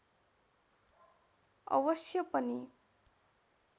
अवश्य पनि